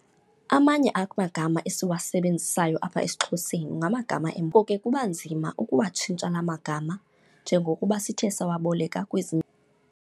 Amanye amagama esiwasebenzisayo apha esiXhoseni ngamagama ke kuba nzima ukuwatshintsha la magama njengokuba sithe sawoboleka kwezinye.